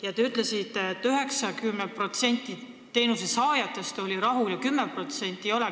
Ja te ütlesite, et 90% teenuse saajatest oli rahul ja 10% ei olnud.